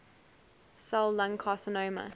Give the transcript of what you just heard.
cell lung carcinoma